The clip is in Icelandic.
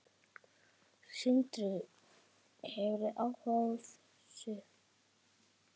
Sindri: Hefurðu áhuga á þessu?